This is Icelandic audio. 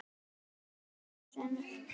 Soffía og synir.